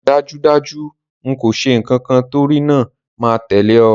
Dájúdájú n kò se nkankan torínáà máa tẹ̀lẹ́ o